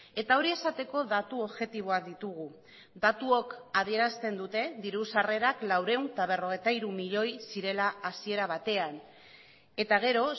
eta hori esateko datu objektiboak ditugu datuok adierazten dute diru sarrerak laurehun eta berrogeita hiru milioi zirela hasiera batean eta gero